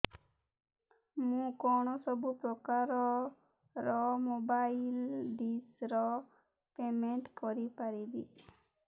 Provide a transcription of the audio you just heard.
ମୁ କଣ ସବୁ ପ୍ରକାର ର ମୋବାଇଲ୍ ଡିସ୍ ର ପେମେଣ୍ଟ କରି ପାରିବି